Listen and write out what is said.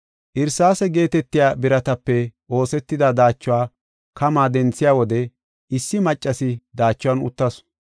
Irsaase geetetiya biratape oosetida daachuwa kamaa denthiya wode issi maccasi daachuwan uttasu.